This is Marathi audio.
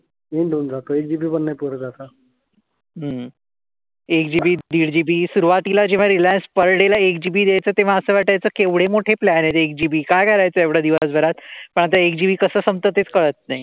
एक GB दीड GB सुरुवातीला जेव्हा रिलायन्स पर डे ला एक GB देत होतं, तेव्हा असं वाटायचं केवढे मोठे प्लॅन आहेत, एक GB. काय करायचं एवढ दिवसभरात? पण आता एक GB कसं संपतं तेच कळत नाही.